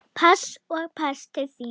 Pass og pass til þín.